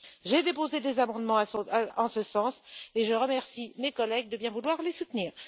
J'ai déposé des amendements en ce sens et je remercie mes collègues de bien vouloir les soutenir.